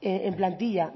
en plantilla